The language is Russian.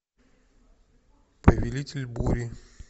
повелитель бури